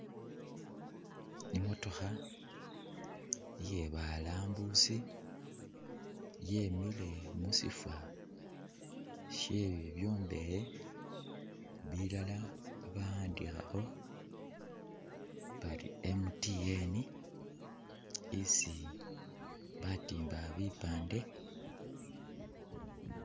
ii’motokha iye’balambusi yemile mushifo shee bibyombekhe bilala bawandikhakho bari MTN isii batimba bipande